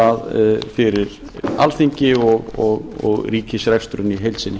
að fyrir alþingi og ríkisreksturinn í heild sinni